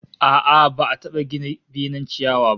A'a, ba'a taba gina benen ciyawa ba